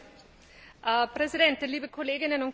Herr Präsident, liebe Kolleginnen und Kollegen!